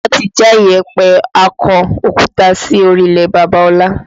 Wọn ti já ìyẹ̀pẹ̀ akọ òkúta sí orílẹ̀ Bàbá ọlá